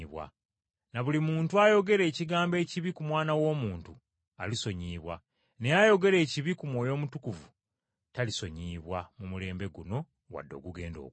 Na buli muntu ayogera ekigambo ekibi ku Mwana w’Omuntu alisonyiyibwa, naye ayogera ekibi ku Mwoyo Omutukuvu talisonyiyibwa mu mulembe guno wadde ogugenda okujja.